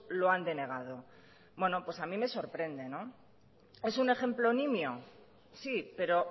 lo han denegado bueno pues a mí me sorprende es un ejemplo nimio sí pero